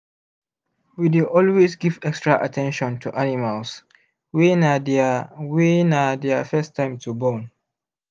we dey always give extra at ten tion to animals wy na their wy na their first time to born